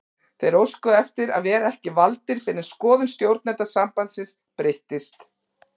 Þeir óskuðu eftir að vera ekki valdir fyrr en skoðun stjórnenda sambandsins breyttist.